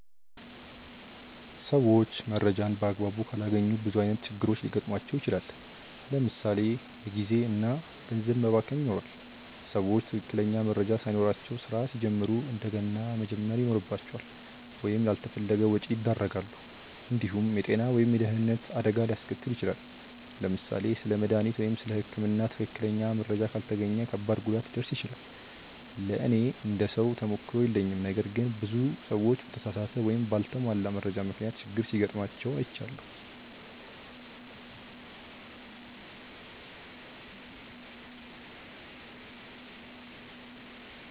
ሰዎች መረጃን በአግባቡ ካላገኙ ብዙ ዓይነት ችግሮች ሊገጥሟቸው ይችላል። ለምሳ ሌ የጊዜ እና ገንዘብ መባከን ይኖራል። ሰዎች ትክክለኛ መረጃ ሳይኖራቸው ስራ ሲጀምሩ እንደገና መጀመር ይኖርባቸዋል ወይም ላልተፈለገ ወጪ ያደርጋሉ። እንዲሁም የጤና ወይም የደህንነት አደጋ ሊያስከትል ይችላል። ለምሳሌ ስለ መድሃኒት ወይም ስለ ህክምና ትክክለኛ መረጃ ካልተገኘ ከባድ ጉዳት ሊደርስ ይችላል። ለእኔ እንደ ሰው ተሞክሮ የለኝም ነገር ግን ብዙ ሰዎች በተሳሳተ ወይም በአልተሟላ መረጃ ምክንያት ችግር ሲጋጥማቸው አይቻለሁ።